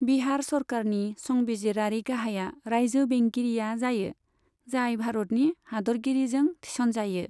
बिहार सरकारनि संबिजिरारि गाहाया रायजो बेंगिरिया जायो, जाय भारतनि हादोरगिरिजों थिसनजायो।